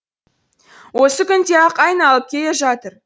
осы күнде ақ айналып келе жатыр